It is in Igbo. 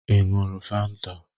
Ị ṅụrụ Fanta?